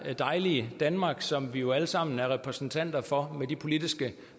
dejlige danmark som vi jo alle sammen er repræsentanter for med de politiske